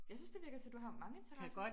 Jeg synes det virker til du har mange interesser